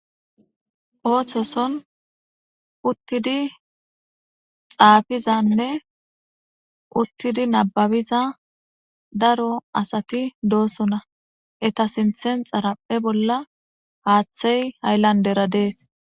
Ooththoson uttidi xaafizanne uttidi nababiza daro asati doosona eta sinthen xaraphe bolla haaththey hayllandera dees.